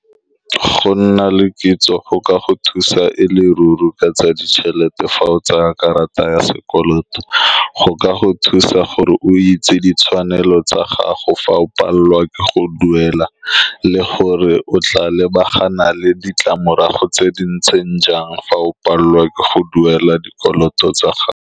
Go nna le kitso go ka go thusa e le ruri ka tsa ditšhelete. Fa o tsaya karata ya sekoloto, go ka go thusa gore o itse ditshwanelo tsa gago fa o palelwa ke go duela, le gore o tla lebagana le ditlamorago tse di ntseng jang fa o palelwa ke go duela dikoloto tsa gago.